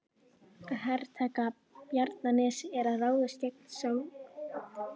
Að hertaka Bjarnanes er að ráðast gegn Skálholti.